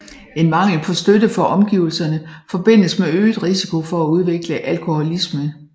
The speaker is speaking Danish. En mangel på støtte fra omgivelserne forbindes med øget risiko for at udvikle alkoholisme